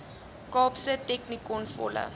kaapse technikon volle